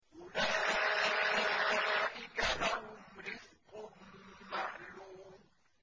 أُولَٰئِكَ لَهُمْ رِزْقٌ مَّعْلُومٌ